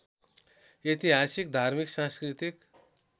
ऐतिहासिक धार्मिक सांस्कृतिक